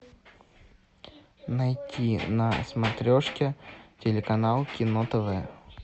найти на смотрешке телеканал кино тв